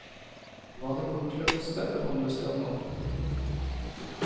Hva det kommer til å koste, forhandles det om nå.